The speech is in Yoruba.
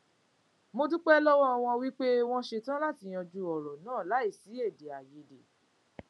mo dúpé lówó wọn pé wón ṣe tán láti yanjú òrò náà láìsí èdèàìyédè